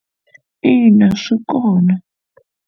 In, a swi kona.